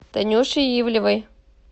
танюши ивлевой